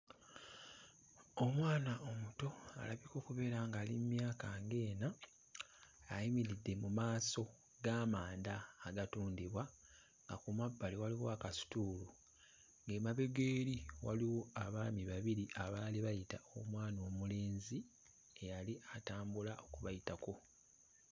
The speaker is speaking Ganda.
Omwana omuto alabika okubeera ng'ali mu myaka ng'ena ayimiridde mu maaso g'amanda agatundibwa nga ku mabbali waliwo akasituulu. Ng'emabega eri waliwo abaami babiri abaali bayita omwana omulenzi eyali atambula okubayitako.